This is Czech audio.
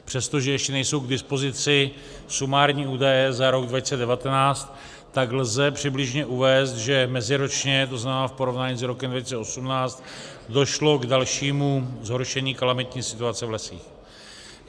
Přestože ještě nejsou k dispozici sumární údaje za rok 2019, tak lze přibližně uvést, že meziročně, to znamená v porovnání s rokem 2018, došlo k dalšímu zhoršení kalamitní situace v lesích.